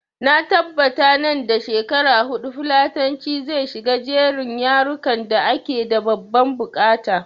Na tabbata nan da shekara huɗu fulatanci zai shiga jerin yarukan da ake da babban buƙata